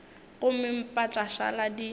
gomme mpa tša šala di